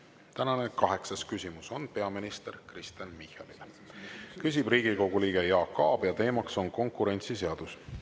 Tänane kaheksas küsimus on peaminister Kristen Michalile, küsib Riigikogu liige Jaak Aab ja teema on konkurentsiseadus.